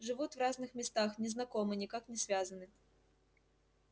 живут в разных местах не знакомы никак не связаны